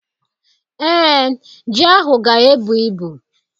Ee, ji ahụ ga-ebu ibu.